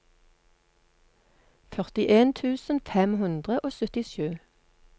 førtien tusen fem hundre og syttisju